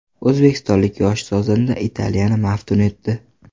O‘zbekistonlik yosh sozanda Italiyani maftun etdi.